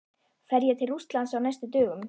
Fer ég til Rússlands á næstu dögum?